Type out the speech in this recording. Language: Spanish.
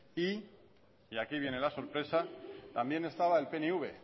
y aquí viene la sorpresa también estaba el pnv